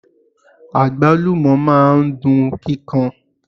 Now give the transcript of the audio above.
Agbalumo máa ń dun kíkan.